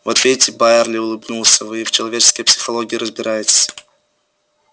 вот видите байерли улыбнулся вы и в человеческой психологии разбираетесь